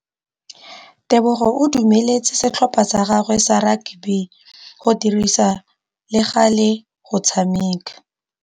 Tebogô o dumeletse setlhopha sa gagwe sa rakabi go dirisa le galê go tshameka.